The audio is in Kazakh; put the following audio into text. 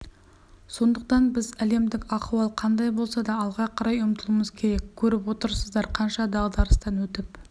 сондықтан біз әлемдік ахуал қандай болса да алға қарай ұмтылуымыз керек көріп отырсыздар қанша дағдарыстан өтіп